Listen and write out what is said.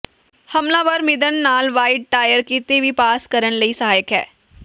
ਹਮਲਾਵਰ ਮਿਧਣ ਨਾਲ ਵਾਈਡ ਟਾਇਰ ਕਿਤੇ ਵੀ ਪਾਸ ਕਰਨ ਲਈ ਸਹਾਇਕ ਹੈ